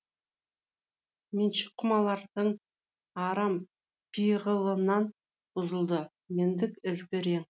меншік құмалардың арам пиғылынан бұзылды мендік ізгі рең